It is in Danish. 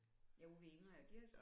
Ja ude ved Ingrid og Gerts?